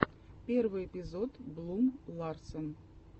первый эпизод блум ларсен